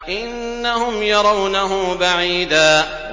إِنَّهُمْ يَرَوْنَهُ بَعِيدًا